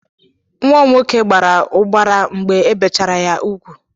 Nwa m nwoke gbara ụbara mgbe ebechara ya ugwu.